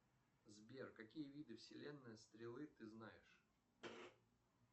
сбер какие виды вселенные стрелы ты знаешь